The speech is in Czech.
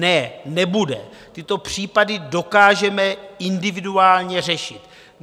Ne, nebude, tyto případy dokážeme individuálně řešit.